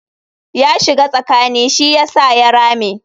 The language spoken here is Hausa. Ya shiga tsakani shi yasa ya rame.